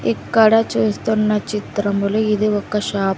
ఇక్కడ చూస్తున్న చిత్రంలో ఇది ఒక షాప్ .